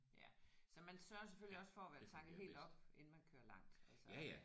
Ja så man sørger selvfølgelig også for at være tanket helt op inden man kører langt altså